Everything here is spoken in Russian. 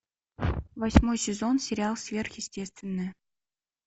восьмой сезон сериал сверхъестественное